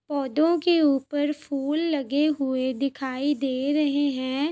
पौधों के ऊपर फूल लगे हुए दिखाई दे रहे हैं।